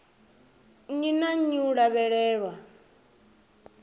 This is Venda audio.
nnyi na nnyi u lavhelelwa